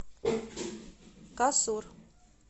касур